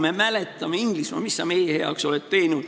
Me mäletame, Inglismaa, mis sa meie heaks oled teinud.